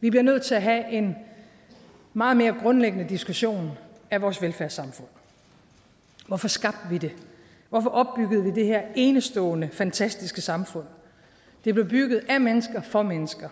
vi bliver nødt til at have en meget mere grundlæggende diskussion af vores velfærdssamfund hvorfor skabte vi det hvorfor opbyggede vi det her enestående fantastiske samfund det blev bygget af mennesker for mennesker